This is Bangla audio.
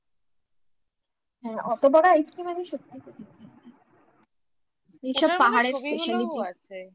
হ্যাঁ অত বড় ice cream আমি সত্যি এইসব পাহাড়ের speciality